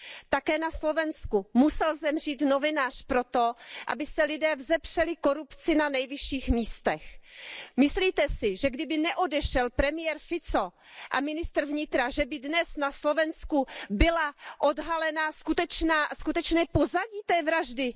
Také na Slovensku musel zemřít novinář proto, aby se lidé vzepřeli korupci na nejvyšších místech. Myslíte si, že kdyby neodešel premiér Fico a ministr vnitra, že by dnes na Slovensku bylo odhaleno skutečné pozadí té vraždy?